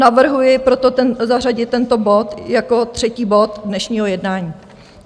Navrhuji proto zařadit tento bod jako třetí bod dnešního jednání.